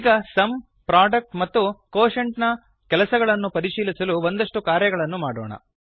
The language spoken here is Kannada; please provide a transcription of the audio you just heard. ಈಗ ಸುಮ್ ಪ್ರೊಡಕ್ಟ್ ಮತ್ತು ಕ್ವೋಷೆಂಟ್ ನ ಕೆಲಸಗಳನ್ನು ಪರಿಶೀಲಿಸಲು ಒಂದಷ್ಟು ಕಾರ್ಯಗಳನ್ನು ಮಾಡೋಣ